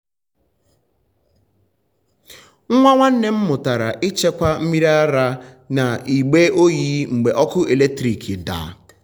nwa nwanne m mụtara ịchekwa mmiri ara n’igbe oyi mgbe ọkụ eletrik daa.